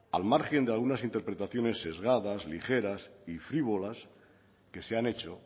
al margen de algunas interpretaciones sesgadas ligeras y frívolas que se han hecho